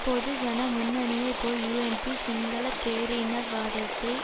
பொதுஜன முன்னணியைப் போல் யூஎன்பி சிங்கள பேரினவாதத்தை